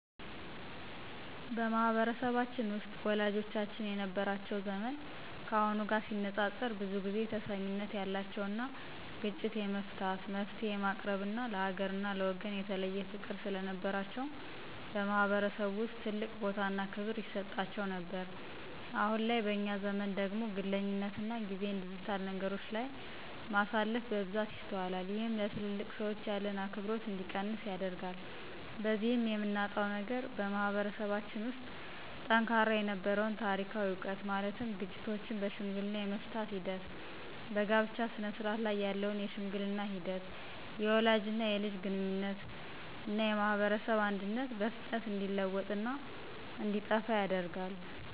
በማህበረሰባችን ውስጥ ወላጆቻችን የነበራቸው ዘመን ካሁኑ ጋር ሲነፃፀር ብዙ ጊዜ ተሰሚነት ያላቸውና ግጭት የመፍታት፣ መፍትሔ የማቅረብና ለሀገርና ለወገን የተለየ ፍቅር ስለነበራቸው በማህበረሰቡ ውስጥ ትልቅ ቦታና ክብር ይሰጣቸው ነበር። አሁን ላይ በእኛ ዘመን ደግሞ ግለኝነትና ጊዜን ዲጂታል ነገሮች ላይ ማሳለፍ በብዛት ይስተዋላል። ይህም ለትልልቅ ሰዎች ያለን አክብሮት እንዲቀንስ ያደርጋል። በዚህም የምናጣው ነገር በማህበረሰባችን ውስጥ ጠንካራ የነበረውን ታሪካዊ ዕውቀት ማለትም ግጭቶችን በሽምግልና የመፍታት ሂደት፣ በጋብቻ ስነስርዓት ላይ ያለውን የሽምግልና ሂደት፣ የወላጅና የልጅ ግንኙነትና የማህበረሰብ አንድነትና በፍጥነት እንዲለወጥና እንዲጠፋ ያደርጋል።